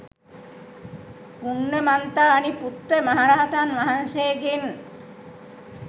පුන්නමන්තානි පුත්ත මහරහතන් වහන්සේගෙන්